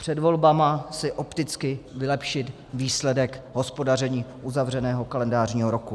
Před volbami si opticky vylepšit výsledek hospodaření uzavřeného kalendářního roku.